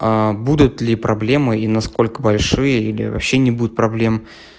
будут ли проблемы и насколько большие или вообще не будет проблем